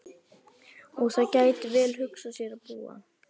Og þar gæti ég vel hugsað mér að búa.